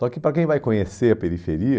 Só que, para quem vai conhecer a periferia,